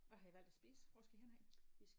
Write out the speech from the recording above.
Hvad har I valgt at spise hvor skal I henad?